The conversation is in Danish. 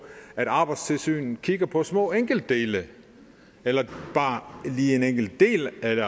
at arbejdstilsynet kigger på små enkeltdele eller bare lige en enkelt del af et